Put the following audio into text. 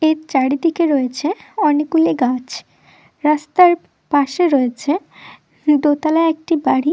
এর চারিদিকে রয়েছে অনেকগুলি গাছ রাস্তার পাশে রয়েছে দোতালা একটি বাড়ি--